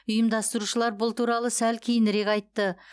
ұйымдастырушылар бұл туралы сәл кейінірек айтты